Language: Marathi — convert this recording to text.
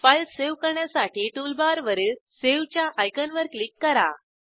फाईल सावे करण्यासाठी टूलबारवरील सावे च्या आयकॉनवर क्लिक करा